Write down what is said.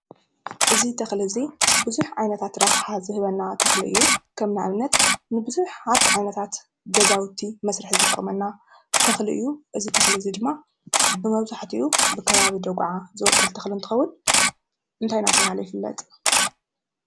እዚ ተኽሊ እዚ ብዙሕ ዓይነታት ረብሓ ዝህበና ተኽሊ እዩ፡፡ ከም ንኣብነት ንብዙሓት ዓይነታት ገዛውቲ መስርሒ ዝጠቕመና ተኽሊ እዩ፡፡ እዚ ተኽሊ ድማ ብመብዛሕቲኡ ብከባቢ ደጉዓ ዝበቁል እንትኸውን እንታይ እናተባህለ ይፍለጥ?